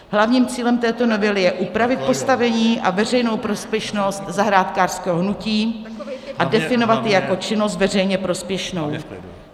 Hlavním cílem této novely je upravit postavení a veřejnou prospěšnost zahrádkářského hnutí a definovat ji jako činnost veřejně prospěšnou.